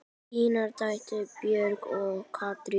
Una: Er það ekki?